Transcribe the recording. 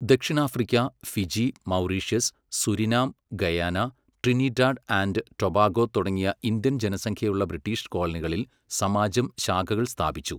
ദക്ഷിണാഫ്രിക്ക, Fiji, Mauritius, Suriname, Guyana, Trinidad and Tobago തുടങ്ങിയ Indian ജനസംഖ്യയുള്ള ബ്രിട്ടീഷ് കോളനികളിൽ സമാജം ശാഖകള് സ്ഥാപിച്ചു.